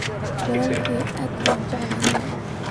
Walalkey aad baan ujeclhy.